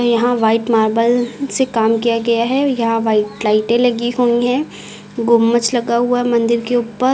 यहां white marble से काम किया गया है या वाइट लाइटें लगी हुई हैं गुंबज लगा हुआ है मंदिर के ऊपर।